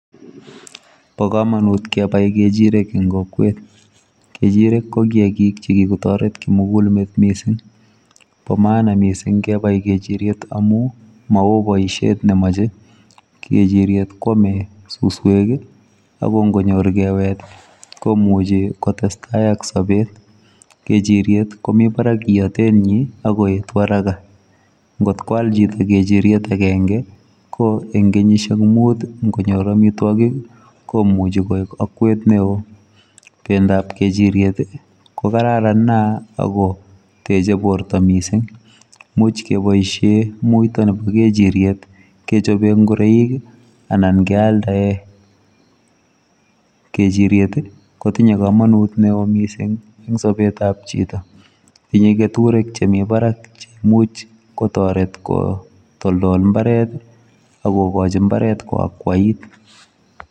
Bo komonut kepai kechirek eng kokwet. Kechirek ko kiakik chikikotoret kimugulmet mising . Bo maana mising kepai kechiryet amu mao boishet nemoche. Kechiryet kwome suswek ako nkonyor kewet komuchi kotestai ak sobet. Kechiryet komi barak iatenyi akoetu haraka. Nkot koal choto kechiryet akenke ko eng kenyishek mut nkonyor amitwokik komuchi koek akwet neo. Pendoap kechiryet ko kararan nea akoteche poto mising. Much kepoishe muito nepo kechiryet kechope ngureik anan kealdae. kechiryet kotinye kamanut neo mising eng sobetap chito. Tinye keturek chemi barak chemuch kotoret kotoldol mbaret akokochi mbaret koakwait.